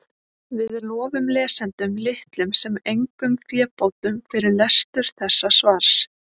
Við lofum lesendum litlum sem engum fébótum fyrir lestur þessa svars.